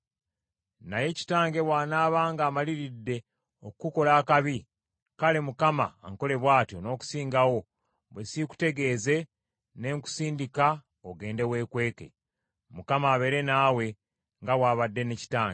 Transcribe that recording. Naye kitange bw’anaaba ng’amaliridde okukukola akabi, kale Mukama ankole bw’atyo, n’okusingawo, bwe siikutegeeze ne nkusindika ogende weekweke. Mukama abeere naawe, nga bw’abadde ne kitange.